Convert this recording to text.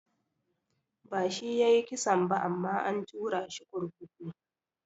Ba shi yayi kisan ba amma an turashi kurkuku.